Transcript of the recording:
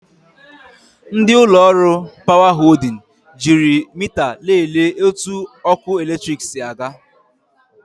Ndị ụlọ ọrụ 'Power Holding' jiiri mita lelee otu ọkụ eletrik si aga.